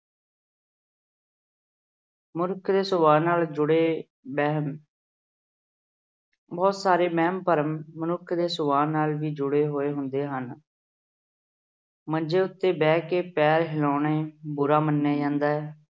ਮਨੁੱਖ ਦੇ ਸੁਭਾਅ ਨਾਲ ਜੁੜੇ ਵਹਿਮ ਬਹੁਤ ਸਾਰੇ ਵਹਿਮ-ਭਰਮ ਮਨੁੱਖ ਦੇ ਸੁਭਾਅ ਨਾਲ ਹੀ ਜੁੜੇ ਹੋਏ ਹੁੰਦੇ ਹਨ। ਮੰਜੇ ਉਤੇ ਬੈਠ ਕੇ ਪੈਰ ਹਿਲਾਉਣੇ ਬੁਰਾ ਮੰਨਿਆ ਜਾਂਦਾ ਹੈ।